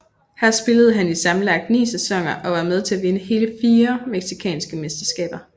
Her spillede han i sammenlagt ni sæsoner og var med til at vinde hele fire mexicanske mesterskaber